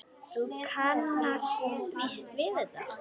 Þú kannast víst við þetta!